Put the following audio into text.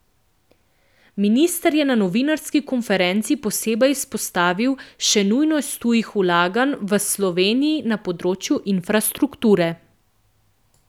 Minister je na novinarski konferenci posebej izpostavil še nujnost tujih vlaganj v Sloveniji na področju infrastrukture.